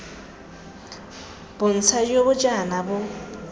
bontsha jo ga jaana bo